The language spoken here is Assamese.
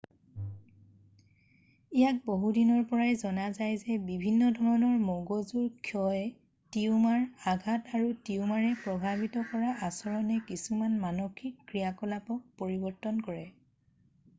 ইয়াক বহুদিনৰ পৰাই জনা যায় যে বিভিন্ন ধৰণৰ মগজু ক্ষয় টিউমাৰ আঘাত আৰু টিউমাৰে প্ৰভাৱিত কৰা আচৰণে কিছুমান মানসিক ক্ৰিয়াকলাপক পৰিবৰ্তন কৰে